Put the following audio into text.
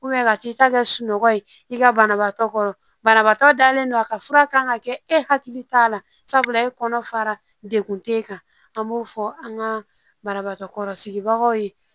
ka t'i ta kɛ sunɔgɔ ye i ka banabaatɔ kɔrɔ banabaatɔ dalen don a ka fura kan ka kɛ e hakili t'a la sabula e kɔnɔ fara de tɛ e kan an b'o fɔ an ka banabagatɔ kɔrɔsigibagaw ye